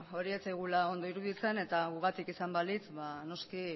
hori ez zaigula ondo iruditzen eta gugatik izan balitz noski